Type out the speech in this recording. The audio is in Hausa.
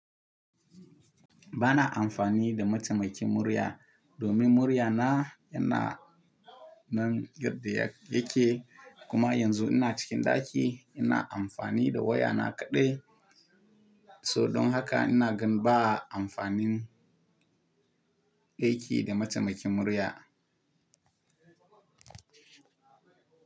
Ba na amfani da mataimakin murya domin muryana yana nan girde yake, kuma yanzu ina cikin ɗaki ina amfani da wayana kaɗai. So don haka ina gan ba a amfanin aiki da mataimakin murya.